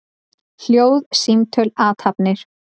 Hljóð, símtöl, athafnir.